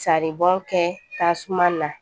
Saribɔn kɛ tasuma na